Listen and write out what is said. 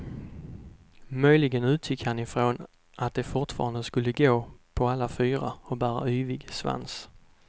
Möjligen utgick han ifrån att de fortfarande skulle gå på alla fyra och bära yvig svans.